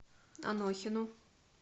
анохину